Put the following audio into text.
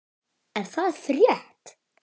Er það frétt?